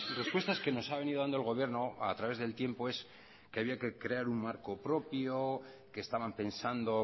respuestas que nos ha venido dando el gobierno a través del tiempo es que había que crear un marco propio que estaban pensando